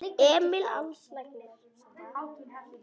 Emil Als læknir.